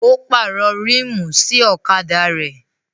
Ó pàrọ̀ ríìmù sí ọ̀kadà rẹ̀